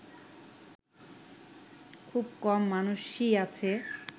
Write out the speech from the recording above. খুব কম মানুষই আছে